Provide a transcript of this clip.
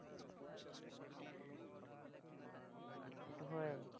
সেটো হয়।